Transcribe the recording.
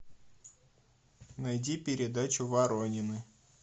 найди передачу воронины